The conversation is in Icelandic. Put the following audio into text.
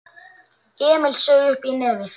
Emil saug uppí nefið.